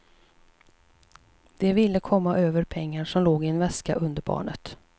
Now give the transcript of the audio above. De ville komma över pengar som låg i en väska under barnet.